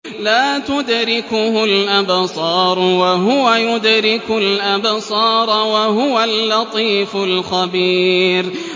لَّا تُدْرِكُهُ الْأَبْصَارُ وَهُوَ يُدْرِكُ الْأَبْصَارَ ۖ وَهُوَ اللَّطِيفُ الْخَبِيرُ